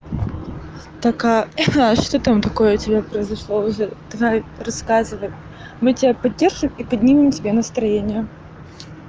так а что там такое у тебя произошло уже давай рассказывай мы тебя поддержим и поднимем тебе настроение